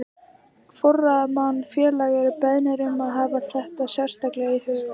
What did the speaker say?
Forráðamenn félaga eru beðnir um að hafa þetta sérstaklega í huga.